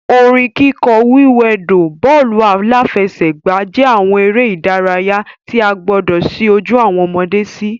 Orin kíkọ, wíwẹdò, bọ́ọ̀lù-aláfẹ́sẹ̀gbà jẹ́ àwọn eré ìdárayá tí a gbọdọ̀ ṣí ojú awọn ọmọde sí